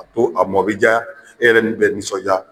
A ko a mɔ bi ja, e yɛrɛ nisɔn ja.